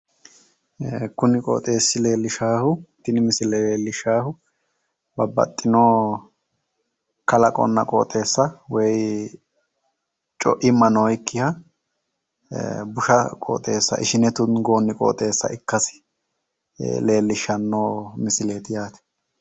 kuni qoxeessi leellishaahu tini misile leellishshaahu babbaxxino kalaqonna qoxeessa woy co'imma noyiikkiha busha qoxeessa ishine tungoonniha ikkasi leellishshanno misileeti